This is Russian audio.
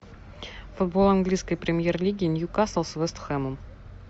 футбол английской премьер лиги ньюкасл с вест хэмом